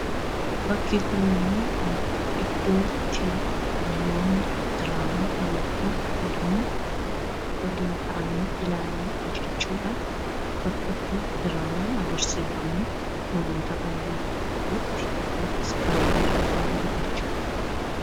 Bakki kun immoo iddoo itti namoonni diraamaa yookaan fiilmii waliin ta'anii ilaalanidha jechuudha. Bakka itti diraamaan agarsiifamu fi namoonni baay'een iskiriinii irraa ilaalanidha jechuudha.